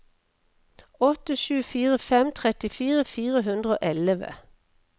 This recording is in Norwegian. åtte sju fire fem trettifire fire hundre og elleve